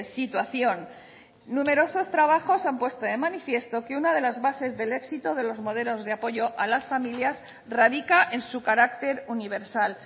situación numerosos trabajos han puesto de manifiesto que una de las bases del éxito de los modelos de apoyo a las familias radica en su carácter universal